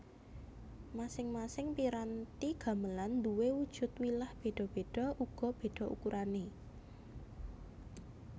Masing masing piranti gamelan nduwe wujud wilah beda beda uga beda ukurane